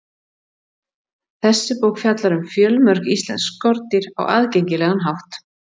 þessi bók fjallar um fjölmörg íslensk skordýr á aðgengilegan hátt